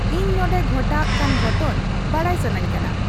ᱤᱧ ᱱᱚᱰᱮ ᱜᱷᱚᱴᱟᱜ ᱠᱟᱱ ᱜᱚᱴᱷᱚᱱ ᱵᱟᱰᱟᱭ ᱥᱟᱱᱟᱧ ᱠᱟᱱᱟ